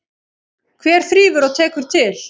Hver þrífur og tekur til?